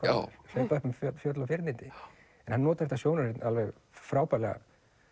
hlaupa um fjöll fjöll og firnindi en hann notar þetta sjónarhorn alveg frábærlega